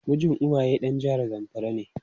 Mijin Uwaye dan jihar zamfara ne.